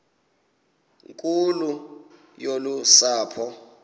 nkulu yolu sapho